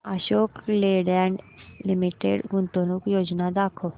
Ashok Leyland Limited गुंतवणूक योजना दाखव